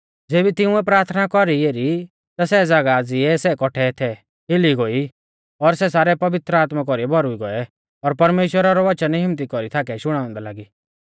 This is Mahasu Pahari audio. ज़ेबी तिंउऐ प्राथना कौरी एरी ता सै ज़ागाह ज़िऐ सै कौट्ठै थै हिली गोई और सै सारै पवित्र आत्मा कौरी भौरुई गौऐ और परमेश्‍वरा रौ वचन हिम्मत्ती कौरी थाकै शुणाउंदै लागी